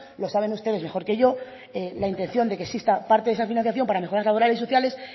lo saben ustedes mejor que yo la intención de que exista parte de esa financiación para mejoras laborales y sociales